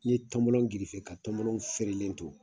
N'i ye tɔnbɔlɔ gerefe ka tɔnbɔlɔ fɛrɛlen to